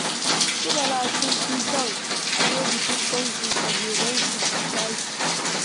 Su Bala sun fi son a je bikin taushen fage don su cashe